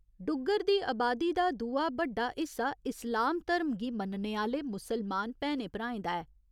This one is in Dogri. डुग्गर दी अबादी च दूआ बड्डा हिस्सा इस्लाम धर्म गी मन्नने आह्‌ले मुसलमान भैनें भ्राएं दा ऐ।